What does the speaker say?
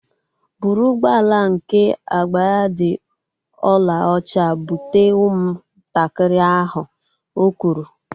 Bụrụ ụgbọala nke agba ya dị olaocha bute ụmụ ntakịrị ahu! Ọ kwụrụ